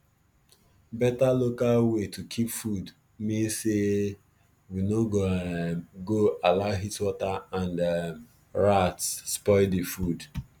better local way to keep food mean say we go no um go allow heatwater and um rats spoil the food